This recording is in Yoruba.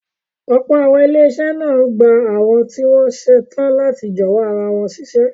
Ọ̀pọ̀ àwọn ilé-iṣẹ́ máa ń gba àwọn tí wọ́n ṣetán láti jọ̀wọ́ ara wọn síṣẹ́.